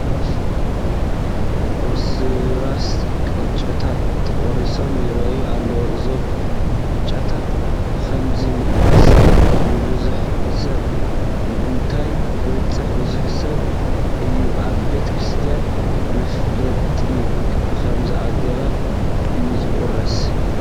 ቁርስራስ ቅጫታት ተቖሊሎም ይርአዩ ኣለዉ፡፡ እዞም ቅጫታት ብኸምዚ ምቑራሶም ንብዙሕ ሰብ ምእንታን ክባፅሑ ብምሕሳብ እዩ፡፡ ኣብ ቤተ ክርስቲያን መኽፈልቲ ብኸምዚ ኣገባብ እዩ ዝቑረስ፡፡